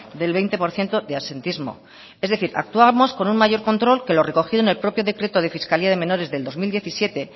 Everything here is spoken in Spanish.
del veinte por ciento de absentismo es decir actuamos con un mayor control que lo recogido en el propio decreto de fiscalidad de menores del dos mil diecisiete